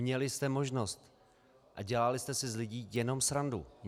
Měli jste možnost, a dělali jste si z lidí jenom srandu.